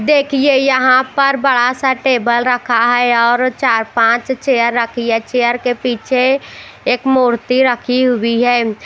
देखिए यहां पर बड़ा सा टेबल रखा है और चार पांच चेयर रखी है चेयर के पीछे एक मूर्ति रखी हुई है।